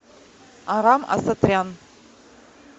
арам асатрян